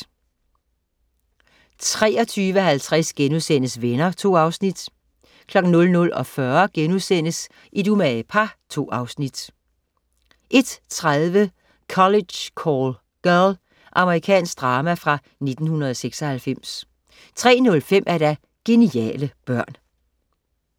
23.50 Venner* 2 afsnit 00.40 Et umage par* 2 afsnit 01.30 College Call Girl. Amerikansk drama fra 1996 03.05 Geniale børn